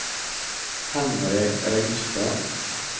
Henry Ringstad